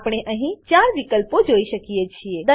આપણે અહીં 4 વિકલ્પો જોઈ શકીએ છીએ